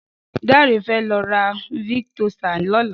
Dare fè lọ̀ rà viktósá lọ̀lá